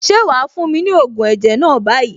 Ṣé wàá fún mi ní ògùn ẹ̀jẹ̀ náà báyìí?